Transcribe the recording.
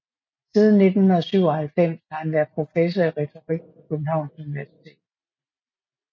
Siden 1997 har han været professor i retorik på Københavns Universitet